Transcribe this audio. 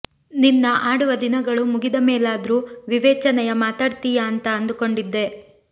ನಿನ್ನ ಆಡುವ ದಿನಗಳು ಮುಗಿದ ಮೇಲಾದ್ರೂ ವಿವೇಚನೆಯ ಮಾತಾಡ್ತೀಯಾ ಅಂತ ಅಂದುಕೊಂಡಿದ್ದೆ